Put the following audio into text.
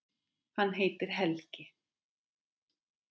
Hann heitir Helgi.